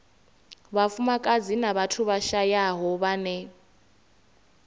vhafumakadzi na vhathu vhashayaho vhane